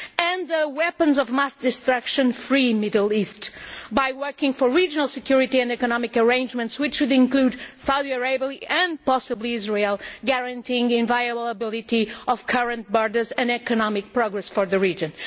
We could create a weapons of mass destruction free Middle East by working for regional security and economic arrangements, which would include Saudi Arabia and possibly Israel, thus guaranteeing inviolability of current borders and economic progress for the region.